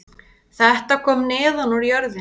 Þetta kom neðan úr jörðinni